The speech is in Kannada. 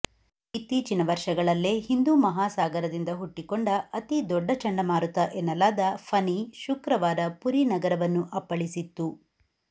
ಇತ್ತೀಚಿನ ವರ್ಷಗಳಲ್ಲೇ ಹಿಂದೂ ಮಹಾಸಾಗರದಿಂದ ಹುಟ್ಟಿಕೊಂಡ ಅತಿದೊಡ್ಡ ಚಂಡಮಾರುತ ಎನ್ನಲಾದ ಫನಿ ಶುಕ್ರವಾರ ಪುರಿ ನಗರವನ್ನು ಅಪ್ಪಳಿಸಿತ್ತು